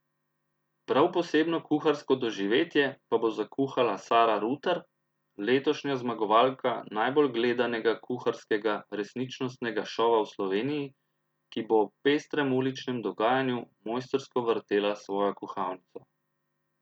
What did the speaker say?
Prav posebno kuharsko doživetje pa bo zakuhala Sara Rutar, letošnja zmagovalka najbolj gledanega kuharskega resničnostnega šova v Sloveniji, ki bo ob pestrem uličnem dogajanju mojstrsko vrtela svojo kuhalnico.